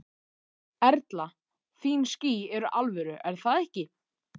Erla: Þín ský eru alvöru er það ekki?